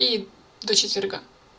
и до четверга